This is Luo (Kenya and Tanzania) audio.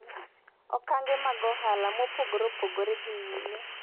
okange mag ohala mopogre opogre dhi nyime